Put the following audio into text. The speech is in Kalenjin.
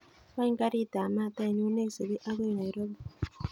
Wany garit ab maat ainon neisubi agoi nairobi